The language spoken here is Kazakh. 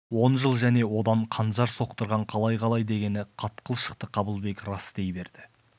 он жыл және одан қанжар соқтырған қалай қалай дегені қатқыл шықты қабылбек рас дей берді